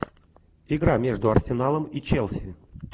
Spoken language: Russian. игра между арсеналом и челси